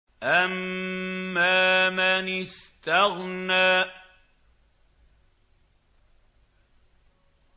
أَمَّا مَنِ اسْتَغْنَىٰ